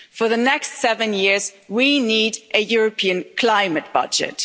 For the next seven years, we need a European climate budget.